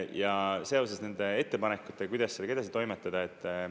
Ja seoses nende ettepanekutega, kuidas sellega edasi toimetada.